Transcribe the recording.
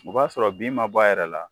O b'a sɔrɔ bin ma bɔ a yɛrɛ la